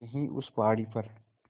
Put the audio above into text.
यहीं उस पहाड़ी पर